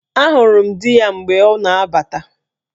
Ahụrụ m dị ya mgbe ọ na-abata